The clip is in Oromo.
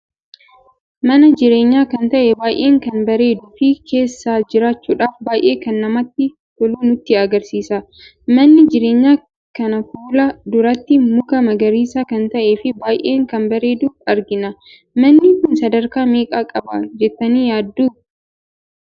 Mana jireenya kan ta'e baay'ee kan bareeduu fi keessa jiraachudhaf baay'ee kan namatti tolu nutti agarsiisa. Manni jireenya kana fuula duratti muka magariisa kan ta'ee fi baay'ee kan bareedu argina. Manni kun sadarkaa meeqa qaba jettani yaaddu?